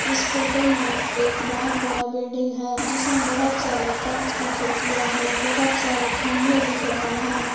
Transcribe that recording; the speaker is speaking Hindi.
इस फोटो में एक बहोत बड़ा बिल्डिंग है जिसमें बहोत सारे कांच की खिड़कियां हैं बहोत सारे खंभे दिख रहे हैं।